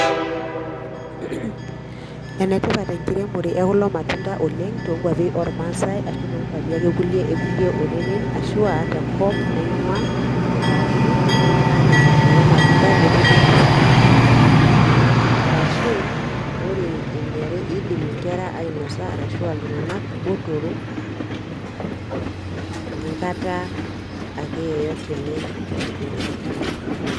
Enetipat enkiremore ekulo matunda oleng' toonkuapi ormaasai ashu toonkuapi ake kulie ekulie oreren ashu aa tenkop naingua. Enkaraki kidimi aatimir kulo matunda netumi impisai entoki edukuya arashu wore eniare, iidim inkera ainosa arashu aa iltunganak botorok enkata ake yeyote enye pookin.